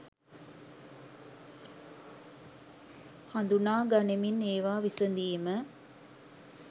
හඳුනා ගනිමින් ඒවා විසඳීම